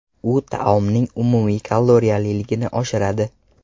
U taomning umumiy kaloriyaliligini oshiradi.